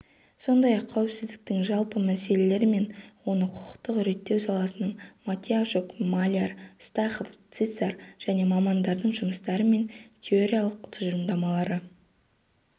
сондай-ақ қауіпсіздіктің жалпы мәселелері мен оны құқықтық реттеу саласынын матиящук маляр стахов цисар және мамандардың жұмыстары мен теориялық тұжырымдамалары